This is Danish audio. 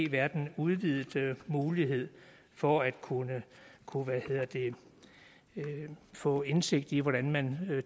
været en udvidet mulighed for at kunne kunne få indsigt i hvordan man